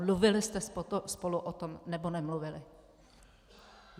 Mluvili jste spolu o tom, nebo nemluvili?